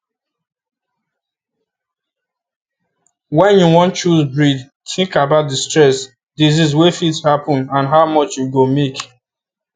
when you wan choose breed think about the stress disease wey fit happen and how much you go make